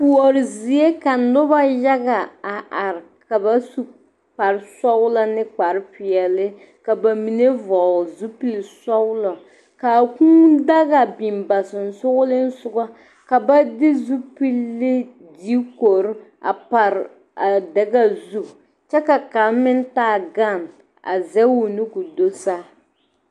Kuoro zie ka noba yaga a are ka ba su kparesɔglɔ ne kparepeɛle ka ba mine vɔgle zupilisɔglɔ k,a kūūdaga biŋ ba sensoglesoga ka ba de zupili diikori a pare a daga zu kyɛ ka kaŋ meŋ taa gane a zɛge o nu k,o do saa.